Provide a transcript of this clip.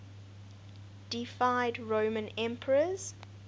deified roman emperors